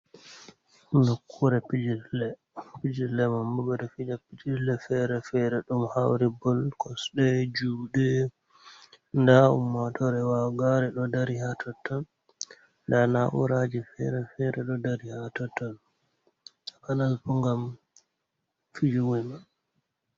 Nokkure pijirle. Pijirle man bo ɓe ɗo fija pijirle fere-fere ɗum ɗo hauri bol kosɗe, juɗe. Nda ummaatore wagaare ɗo dari haa totton nda na'uraje fere-fere ɗo dari haa totton panal bo ngam fijuwe man.